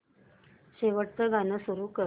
शेवटचं गाणं सुरू कर